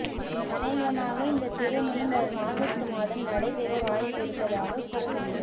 அனேகமாக இந்த திருமணம் வரும் ஆகஸ்ட் மாதம் நடைபெற வாய்ப்பு இருப்பதாக கூறப்படுகிறது